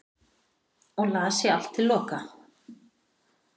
og las ég allt til loka